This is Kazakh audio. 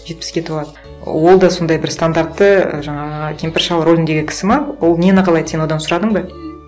жетпіске толады ол да сондай бір стандартты ііі жаңағы кемпір шал рөліндегі кісі ме ол нені қалайды сен одан сұрадың ба